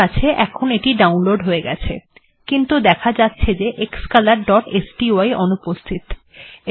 ঠিকআছে এখন এটি ডাউনলোড্ হয়ে গেছে কিন্তু দেখা যাচ্ছে যে xcolorস্টাই অনুপস্হিত